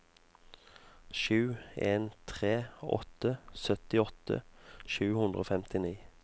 sju en tre åtte syttiåtte sju hundre og femtini